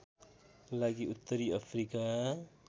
लागि उत्तरी अफ्रिका